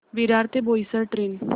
विरार ते बोईसर ट्रेन